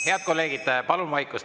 Head kolleegid, palun vaikust!